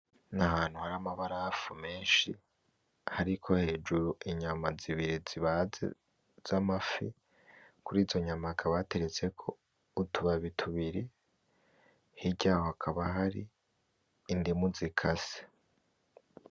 Ni ahantu hari amabarafu menshi hariko hejuru inyama zibiri zibaze z’amafi, kurizo nyama hakaba hateretseko utubabi tubiri, hirya hakaba hari indimu zikase.